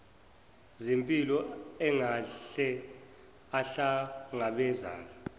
zempilo angahle ahlangabezane